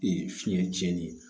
fiɲɛ cɛnnen ye